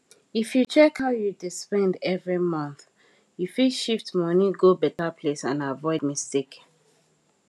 if you check how you dey spend every month you fit shift money go better place and avoid mistake